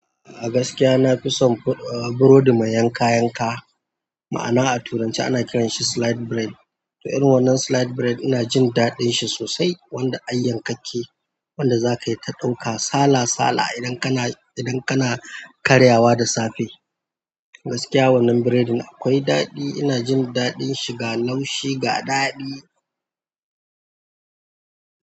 A gaskiya na fi son burodi mai yanka yanka, ma'ana a turanci ana kiranshi slide bread. To, irin wannan slide bread ina jin daɗin shi sosai wanda an yi yankakke wanda zakayi ta ɗauka sala sala idan kana, idan kana karyawa da safe. A gaskiya wannan burodin akwai daɗi, ina jin daɗin shi ga laushi ga daɗi.